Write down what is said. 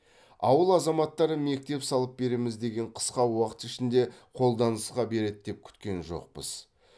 ауыл азаматтары мектеп салып береміз дегенде қысқа уақыт ішінде қолданысқа береді деп күткен жоқпыз